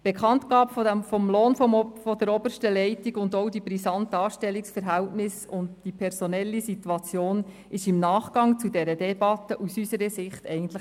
Die Bekanntgabe des Lohns der obersten Leitung und auch die brisanten Anstellungsverhältnisse sowie die personelle Situation im Nachgang der Debatte sind aus unserer Sicht ein Hohn.